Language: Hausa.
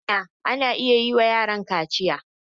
I mana! ana iya yi wa yaron kaciya.